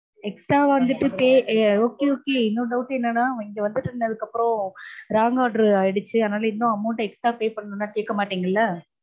extra வந்துட்டு pay okay okay இன்னொரு doubt என்னன்னா இங்க வந்து நின்னதுக்கப்பறம் wrong order ஆயிடுச்சு, அதனால இன்னும் amount extra pay பண்ணனுனுலாம் கேக்க மாட்டீங்கல்ல?